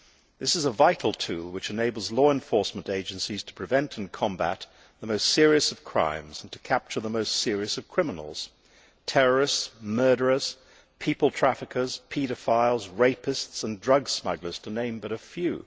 This is a vital tool which enables law enforcement agencies to prevent and combat the most serious of crimes and to capture the most serious of criminals terrorists, murderers, people traffickers, paedophiles, rapists and drug smugglers, to name but a few.